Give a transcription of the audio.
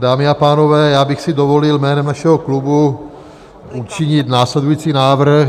Dámy a pánové, já bych si dovolil jménem našeho klubu učinit následující návrh.